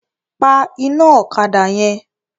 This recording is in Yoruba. Pa iná ọ̀kadà yẹn!